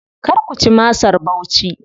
Kar ku ci masar Bauchi.